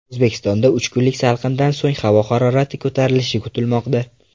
O‘zbekistonda uch kunlik salqindan so‘ng havo harorati ko‘tarilishi kutilmoqda.